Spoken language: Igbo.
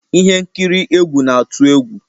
Ihe nkiri egwu na-atụ egwu